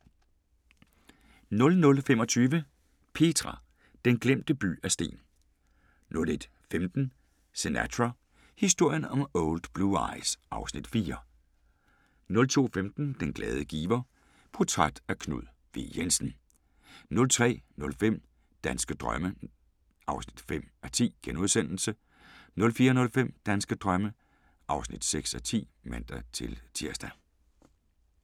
00:25: Petra – den glemte by af sten 01:15: Sinatra – historien om Old Blue Eyes (Afs. 4) 02:15: Den glade giver: Portræt af Knud W. Jensen * 03:05: Danske drømme (5:10)* 04:05: Danske drømme (6:10)(man-tir)